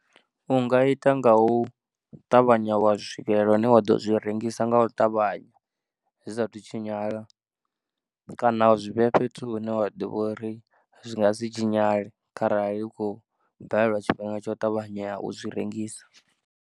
U nga ita nga u ṱavhanya wa swikelela hune wa ḓo zwi rengisa nga u ṱavhanya zwi saathu tshinyala kana zwi vhea fhethu hune wa ḓivha uri zwi nga si tshinyale kharali u khou balelwa tshifhinga tsha u ṱavhanya u zwi rengisa.